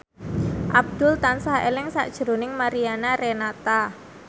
Abdul tansah eling sakjroning Mariana Renata